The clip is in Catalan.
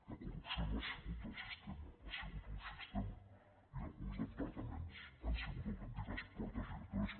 la corrupció no ha sigut del sistema ha sigut un sistema i alguns departaments han sigut autèntiques portes giratòries